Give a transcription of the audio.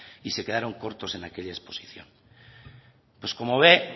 y se quedaron cortos en aquella exposición pues como ve